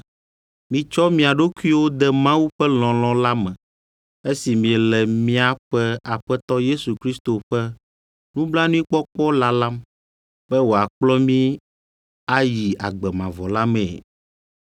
Mitsɔ mia ɖokuiwo de Mawu ƒe lɔlɔ̃ la me esi miele míaƒe Aƒetɔ Yesu Kristo ƒe nublanuikpɔkpɔ lalam be wòakplɔ mi ayi agbe mavɔ la mee.